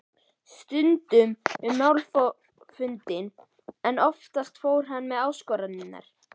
Stundum um málfundi en oftast fór hann með áskoranir.